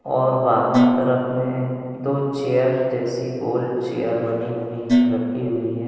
और बाहर तरफ में दो चेयर जैसी गोल चेयर बनी हुई रखी हुई हैं।